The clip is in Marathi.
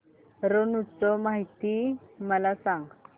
रण उत्सव माहिती मला सांग